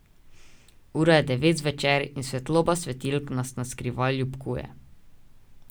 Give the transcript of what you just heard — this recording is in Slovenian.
Ura je devet zvečer in svetloba svetilk vas naskrivaj ljubkuje.